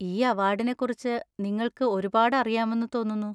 ഈ അവാർഡിനെക്കുറിച്ച് നിങ്ങൾക്ക് ഒരുപാട് അറിയാമെന്ന് തോന്നുന്നു.